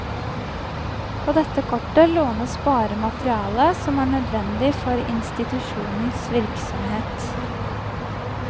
På dette kortet lånes bare materiale som er nødvendig for institusjonens virksomhet.